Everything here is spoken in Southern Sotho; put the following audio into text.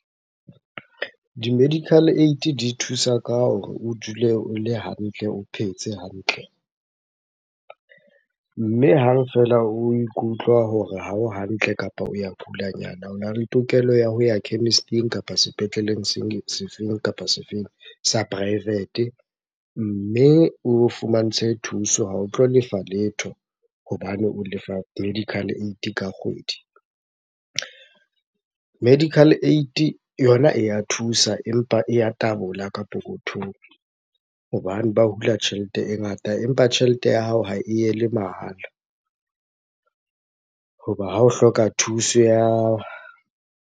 Di-medical aid di thusa ka hore o dule o le hantle, o phetse hantle. Mme hang feela o ikutlwa hore ha o hantle kapa o ya kulanyana, ona le tokelo ya ho ya chemist-ing kapa sepetleleng sefeng kapa sefeng sa private. Mme o fumantshwe thuso, ha o tlo lefa letho hobane o lefa medical aid ka kgwedi. Medical aid yona e ya thusa, empa e ya tabola ka pokothong hobane ba hula tjhelete e ngata empa tjhelete ya hao ha e yele mahala. Hoba ha o hloka thuso .